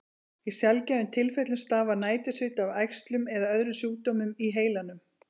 Í sjaldgæfum tilfellum stafar nætursviti af æxlum eða öðrum sjúkdómum í heilanum.